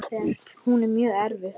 Hún er mjög erfið.